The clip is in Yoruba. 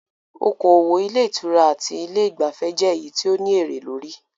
Okoòwò ilé ìtura àti ilé ìgbafẹ́ jẹ èyí tí o ní èré lórí.